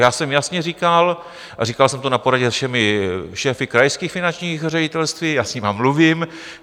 Já jsem jasně říkal, a říkal jsem to na poradě se všemi šéfy krajských finančních ředitelství - já s nimi mluvím.